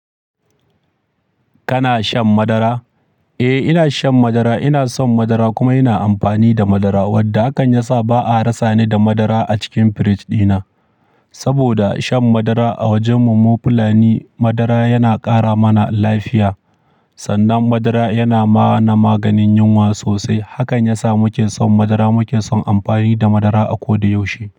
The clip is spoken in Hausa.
Kana shan madara? Eh, ina shan madara. Ina son madara kuma ina amfani da madara, wanda hakan ya sa ba a rasa ni da madara a cikin firij dina. Saboda shan madara a wajen mu mu fulani madara yana ƙara mana lafiya. Sannan madara yana ma na maganin yunwa sosai. Hakan ya sa muke son madara, muke son amfani da madara a koda yaushe.